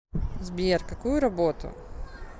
сбер какую работу